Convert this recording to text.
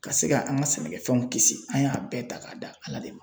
Ka se ka an ka sɛnɛkɛfɛnw kisi an y'a bɛɛ ta k'a da Ala de ma.